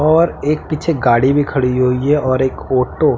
और एक पीछे गाड़ी भी खड़ी हुई है और एक ऑटो --